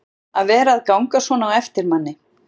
að vera að ganga svona á eftir manni.